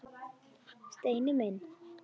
Steini minn.